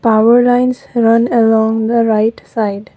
power lines run along the right side.